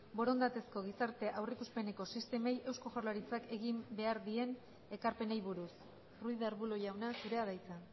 borondatezko gizarte aurreikuspeneko sistemei eusko jaurlaritzak egin beharreko ekarpenei buruz ruiz de arbulo jauna zurea da hitza